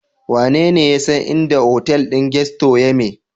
Wanene ya san inda hotel din Gusto yame?